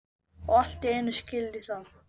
Og allt í einu skil ég það.